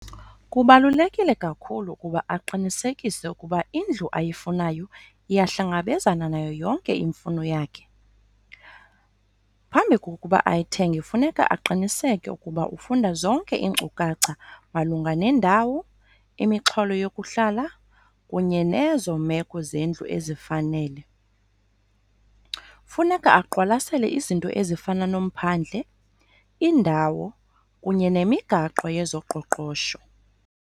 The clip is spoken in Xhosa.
Kubalulekile kakhulu ukuba aqinisekise ukuba indlu ayifunayo iyahlangabezana nayo yonke imfuno yakhe. Phambi kokuba ayithenge kufuneka aqiniseke ukuba ufunda zonke iinkcukacha malunga nendawo, imixholo yokuhlala kunye nezo meko zendlu ezifanele. Funeka aqwalasela izinto ezifana nomphandle, indawo kunye nemigaqo yezoqoqosho.